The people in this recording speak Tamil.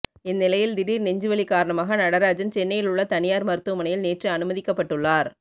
இந்நிலையில் தீடீர் நெஞ்சுவலி காரணமாக நடராஜன் சென்னையில் உள்ள தனியார் மருத்துவமனையில் நேற்று அனுமதிக்கப்பட்டுள்ளார்